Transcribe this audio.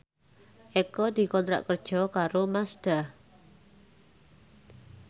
Eko dikontrak kerja karo Mazda